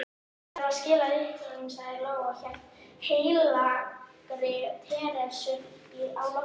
Ég þarf að skila lyklunum, sagði Lóa og hélt heilagri Teresu á lofti.